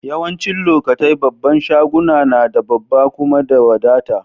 Yawancin lokatai babban shaguna na da babba kuma da wadata.